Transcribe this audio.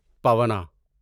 پونا